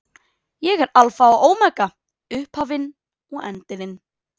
Ég er Alfa og Ómega, upphafið og endirinn.